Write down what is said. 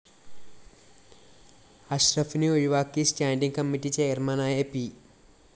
അഷറഫിനെ ഒഴിവാക്കി standing committee ചെയര്‍മാനായ P